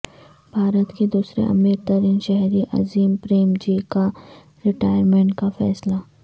بھارت کے دوسرے امیر ترین شہری عظیم پریم جی کا ریٹائرمنٹ کا فیصلہ